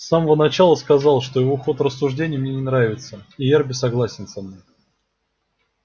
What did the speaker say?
с самого начала сказал что его ход рассуждений мне не нравится и эрби согласен со мной